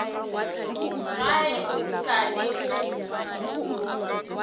ga e sa le go